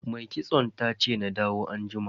Mai kitson tace na dawo anjima.